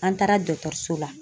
An taara so la.